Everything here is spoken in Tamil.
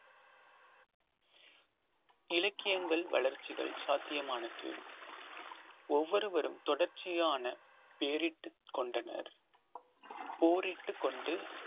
இலக்கியங்கள் வளர்ச்சிகள் சாத்தியமானது ஒவ்வொருவரும் தொடர்ச்சியான பெயரிட்டுக் கொண்டனர் போரிட்டுக் கொண்டு